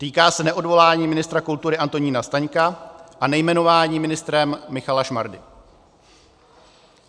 Týká se neodvolání ministra kultury Antonína Staňka a nejmenování ministrem Michala Šmardy.